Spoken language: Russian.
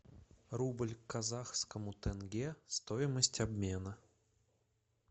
рубль к казахскому тенге стоимость обмена